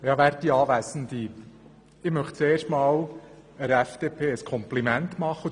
Zuerst möchte ich der FDP ein Kompliment machen.